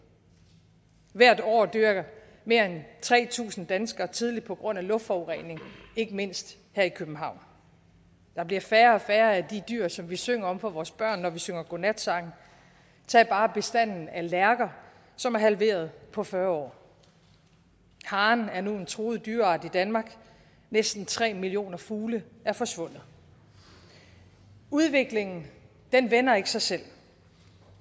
hvert år dør mere end tre tusind danskere tidligt på grund af luftforurening ikke mindst her i københavn der bliver færre og færre af de dyr som vi synger om for vores børn når vi synger godnatsange tag bare bestanden af lærker som er halveret på fyrre år haren er nu en truet dyreart i danmark og næsten tre millioner fugle er forsvundet udviklingen vender ikke sig selv